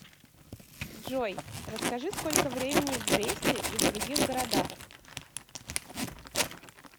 джой расскажи сколько времени в бресте и в других городах